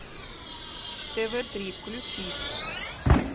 тв три включить